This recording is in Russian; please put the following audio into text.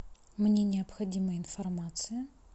мне необходима информация